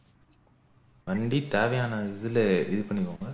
வண்டி தேவையான இதுல இது பண்ணிக்கொங்க